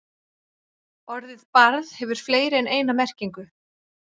Orðið barð hefur fleiri en eina merkingu.